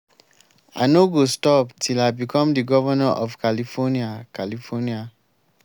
i no go stop till i become the governor of california california